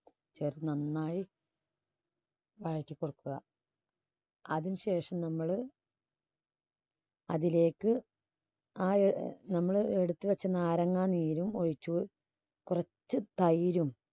ചേർത്ത് നന്നായി വഴറ്റി കൊടുക്കുക. അതിന് ശേഷം നമ്മള് അതിലേക്ക് ആ നമ്മൾ എടുത്ത് വെച്ച നാരങ്ങാ നീരും ഒഴിച്ച് കുറച്ച് തൈരും